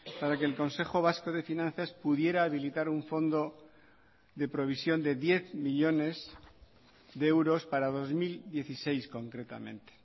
para que el consejo vasco de finanzas pudiera habilitar un fondo de provisión de diez millónes de euros para dos mil dieciséis concretamente